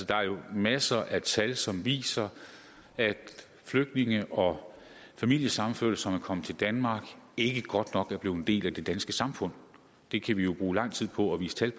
der er jo masser af tal som viser at flygtninge og familiesammenførte som er kommet til danmark ikke godt nok er blevet en del af det danske samfund det kan vi jo bruge lang tid på at vise tal